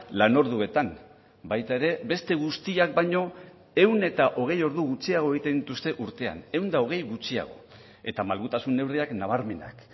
lanorduetan baita ere beste guztiak baino ehun eta hogei ordu gutxiago egiten dituzte urtean ehun eta hogei gutxiago eta malgutasun neurriak nabarmenak